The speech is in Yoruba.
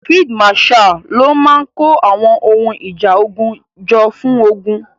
Field marshal ló máa kó àwọn ohun ìjà ogun jọ fún ogun.